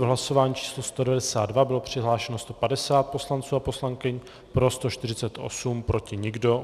V hlasování číslo 192 bylo přihlášeno 150 poslanců a poslankyň, pro 148, proti nikdo.